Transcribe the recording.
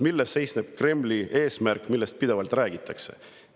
Milles seisneb Kremli eesmärk, millest pidevalt räägitakse?